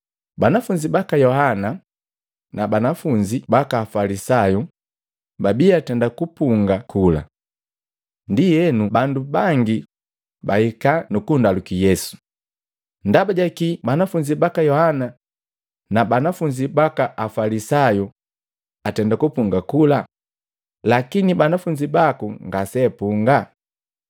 Banafunzi baka Yohana na banafunzi baka Afalisayu, babii atenda kupunga kula. Ndi enu bandu bangi bahika nukundaluki Yesu, “Ndaba jakii Banafunzi baka Yohana na banafunzi baka Afalisayu atenda kupunga kula, lakini banafunzi baku ngaseapunga?”